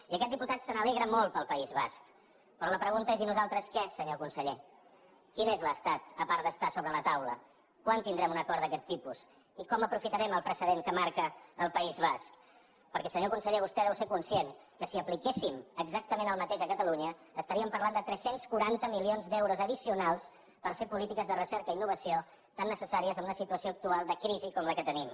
i aquest diputat se n’alegra molt pel país basc però la pregunta és i nosaltres què senyor conseller quin és l’estat a part d’estar sobre la taula quan tindrem un acord d’aquest tipus i com aprofitarem el precedent que marca el país basc perquè senyor conseller vostè deu ser conscient que si apliquéssim exactament el mateix a catalunya estaríem parlant de tres cents i quaranta milions d’euros addicionals per fer polítiques de recerca i innovació tan necessàries en una situació actual de crisi com la que tenim